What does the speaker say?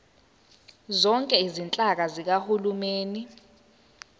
zonke izinhlaka zikahulumeni